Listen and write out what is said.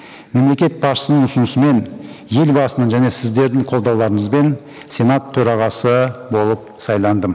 мемлекет басшысының ұсынысымен елбасының және сіздердің қолдауларыңызбен сенат төрағасы болып сайландым